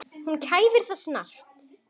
Hún kæfir það snarpt.